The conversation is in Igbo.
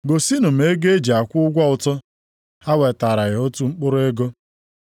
Gosinụ m ego e ji akwụ ụgwọ ụtụ.” Ha wetaara ya otu mkpụrụ ego.